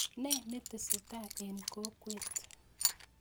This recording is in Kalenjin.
Ne netesetai en kokwet